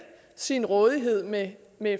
sin rådighed med